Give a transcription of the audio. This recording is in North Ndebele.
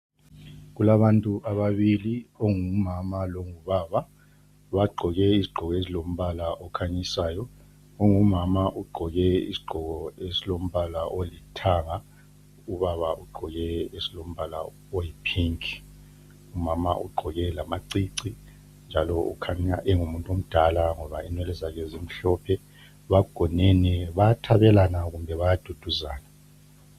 Kulabantu ababili ongumama longubaba bagqoke izigqoko ezilombala okhanyisayo. Ongumama ugqoke isigqoko esilombala olithanga ubaba ugqoke esilombala oyipink, umama ugqoke lamacici njalo ukhanya engumuntu omdala ngoba inwele zakhe zimhlophe. Bagonene bayathabelana kumbe bayaduduzana.